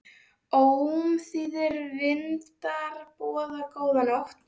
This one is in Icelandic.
Ómþýðir vindar boða góða nótt.